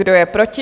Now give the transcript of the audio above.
Kdo je proti?